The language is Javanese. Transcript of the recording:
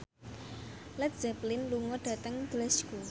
Led Zeppelin lunga dhateng Glasgow